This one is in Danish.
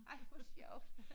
Ej hvor sjovt